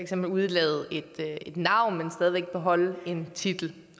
kan udelade et navn men stadig væk beholde en titel